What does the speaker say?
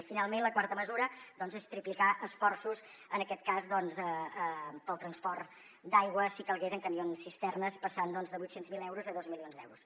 i finalment la quarta mesura doncs és triplicar esforços en aquest cas per al transport d’aigua si calgués en camions cisterna passant de vuit cents miler euros a dos milions d’euros